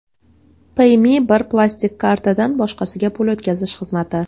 Payme bir plastik kartadan boshqasiga pul o‘tkazish xizmati.